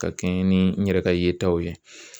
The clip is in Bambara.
Ka kɛɲɛ ni n yɛrɛ ka yetaw ye